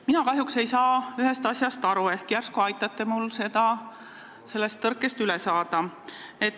Mina kahjuks ei saa ühest asjast aru, järsku aitate mul sellest tõkkest üle saada.